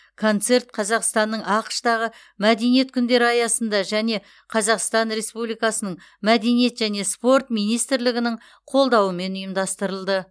концерт қазақстанның ақш тағы мәдениет күндері аясында және қазақстан республикасының мәдениет және спорт министрлігінің қолдауымен ұйымдастырылды